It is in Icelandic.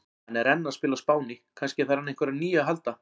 Hann er enn að spila á Spáni, kannski þarf hann á einhverju nýju að halda?